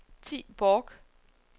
Thi Borch